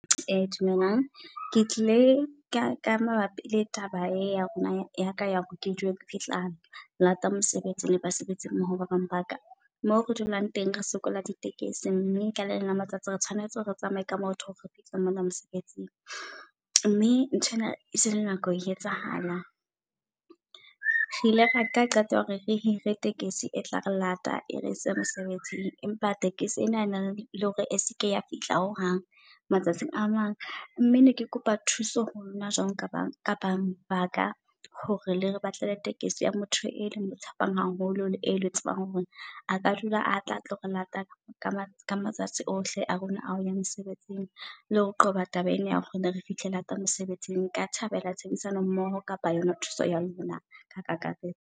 Dumelang ke tlile ka ka mabapi le taba e ya rona yaka ya hore ke dule ke fihla lata mosebetsing le basebetsi mmoho ba bang baka. Moo re dulang teng re sokola di tekesi, mme ka le leng la matsatsi re tshwanetse re tsamaye ka maoto hore re fihla mona mosebetsing. Mme nthwena esele nako e etsahala re ile ra nka qeto ya hore re hire tekesi etla re lata e re ose mesebetsing. Empa tekesi ena ena le hore eseke ya fihla ho hang matsatsing amang, mme neke kopa thuso ho lona jwalo ka banga ka banga baka. Hore le re batle le tekesi ya motho e le mo tshepang haholo. E le tsebang hore aka dula a tla atlo re lata ka matsatsi ohle a rona a hoya mosebetsing. Le ho qoba taba ena ya hore rene re fihle lata mosebetsing. Nka thabela tshebedisano mmoho kapa yona thuso ya lona ka kakaretso.